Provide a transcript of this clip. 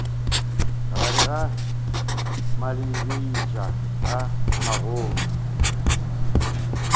gare ga malebiša a magolo